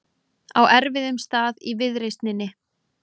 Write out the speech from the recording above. Á erfiðum stað í viðreisninni